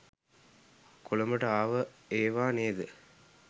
කොළඹට ආව ඒවා නේද?